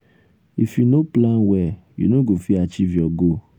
if you no plan well you no go fit achieve your goal.